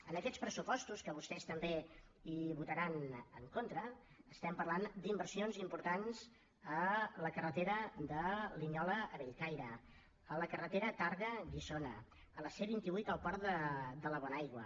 en aquests pressupostos que vostès també hi votaran en contra estem parlant d’inversions importants a la carretera de linyola a bellcaire a la carretera tàrrega guissona a la c vint vuit al port de la bonaigua